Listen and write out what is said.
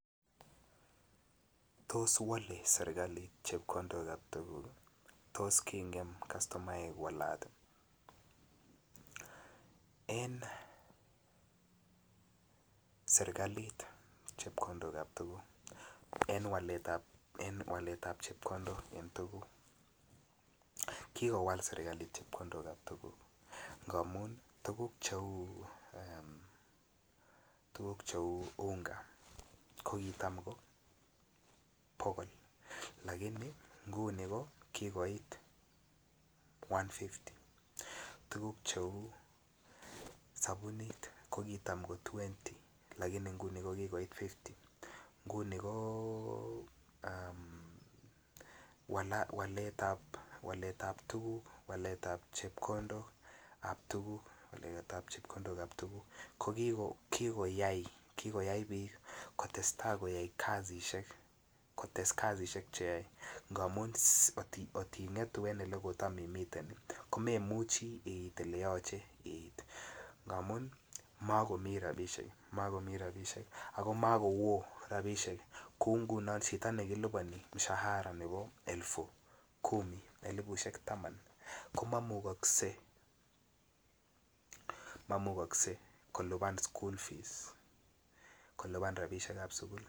Tos wale serikalit chepkondok ap tukuk. Tos kingem customaek walat, en serkalit chepkondokab tuguk en waletab en waletab chepkondok en tuguk kikowal serkalit chepkondokab tuguk ngamun tuguk che uu eem unga ko kitam ko bogol lakini nguni ko kigoit 150 tuguk che uu sobunit ko kitam ko twenti lakini nguni ko kigoit 50 nguni ko um waletab tuguk waletab chepkondokab tuguk ko kikoyay biik kotesta koyay kazishek kotes kazishek che yoe ngamun kot kotingetu en ole kotam imiten ko memuchi iit ele yoche iit ngamun mokomii rabishek ako mokowoo rabishek kouu ngunon chito ne kiliponi mshahara nebo elpu Kumi elipushek Taman ko momuche kolipan school fees kolipan rabinikab sukul